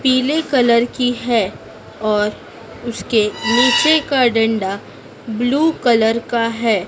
पीले कलर की है और उसके नीचे का डंडा ब्लू कलर का है।